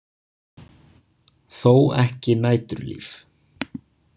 Þó ekki næturlíf.